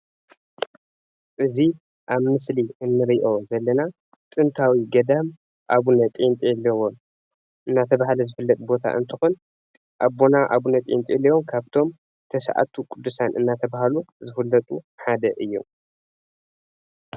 እዚ ኣብ ምስሊ እንርእዮ ዘለና ጥንታዊ ገዳም ኣብነ ጵንጦሎን እንዳተባሃለ ዝፍለጥ ቦታ እንትኾን ኣቦና ኣብነ ጵንጦሎን ካብቶም ተሰዓቱ ቅዱሳን እንዳተባሃሉ ዝፈለጡ ሓደ እዮም።